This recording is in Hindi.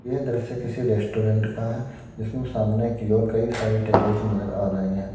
यह दृश्य किसी रेस्टोरेंट का है जिसमें सामने की ओर कई सारी टेबल्स नजर आ रही हैं।